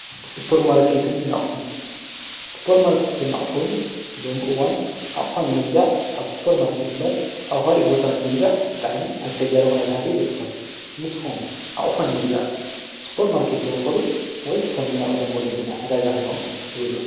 ስጶር ማርትን ናቕሑን ስጶር ማርከትን እሑን ሎምኡዋን ኣቕሓን ምግዛዕ ኣብ ስጶር ማርከት እምበር ኣውሃል ቦታን ምግዛዕ ብጣዓኒ ኣጨጋር ኹነታት ይዝርከብ ንስኾም ኣቕሖን ምግዛዕ ጶር ማርከት ዝወትኸሉ ወይስ ከም ዝነቐደም ወለድና ኣዳጋሂሩኹም ኣዕትጐዙ::